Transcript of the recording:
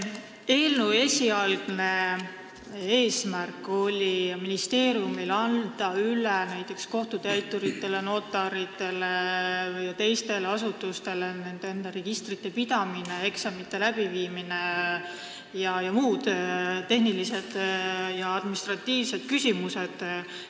Eelnõu esialgne eesmärk oli ministeeriumi jaoks anda kohtutäituritele, notaritele ja teistele asutustele üle nende enda registrite pidamine, eksamite läbiviimine ning muude tehniliste ja administratiivsete küsimuste lahendamine.